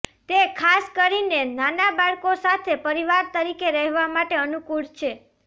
તે ખાસ કરીને નાના બાળકો સાથે પરિવાર તરીકે રહેવા માટે અનુકૂળ છે